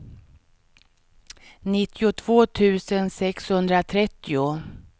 nittiotvå tusen sexhundratrettio